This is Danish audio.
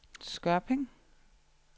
Skørping